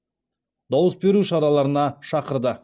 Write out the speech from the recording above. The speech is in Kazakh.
дауыс беру шараларына шақырды